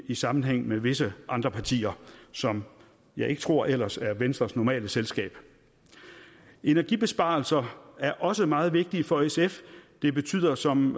i sammenhæng med visse andre partier som jeg ikke tror ellers er venstres normale selskab energibesparelser er også meget vigtige for sf det betyder som